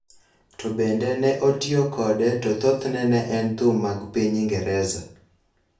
to bende ne otiyo kode to thothne ne en thum mag piny Ingresa,